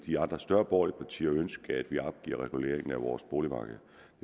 de andre større borgerlige partier ønske at vi opgiver reguleringen af vores boligmarked